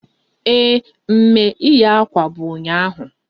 Ee, mme ịwa akwa bụ ụnyaahụ